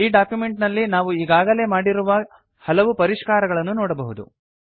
ಈ ಡಾಕ್ಯುಮೆಂಟ್ ನಲ್ಲಿ ನಾವು ಈಗಾಗಲೇ ಮಾಡಿರುವ ಹಲವು ಪರಿಷ್ಕಾರಗಳನ್ನು ನೋಡಬಹುದು